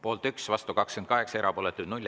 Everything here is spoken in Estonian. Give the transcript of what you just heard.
Poolt 1, vastu 28, erapooletuid 0.